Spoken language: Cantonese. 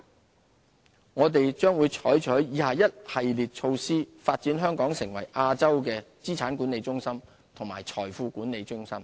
資產/財富管理我們將採取以下一系列措施，發展香港成為亞洲的資產管理中心和財富管理中心。